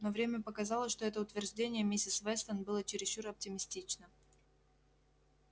но время показало что это утверждение миссис вестон было чересчур оптимистично